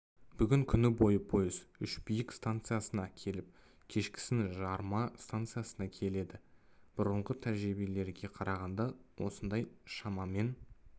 бүгін күні бойы пойыз үшбиік станциясына келіп кешкісін жарма станциясына келеді бұрынғы тәжірибелерге қарағанда осында шамамен